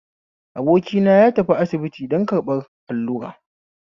Abokina ya tafi asibiti don karɓan allura